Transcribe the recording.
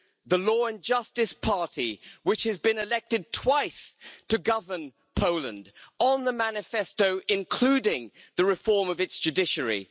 the Law and Justice party, which has been elected twice to govern Poland on its manifesto, including the reform of its judiciary.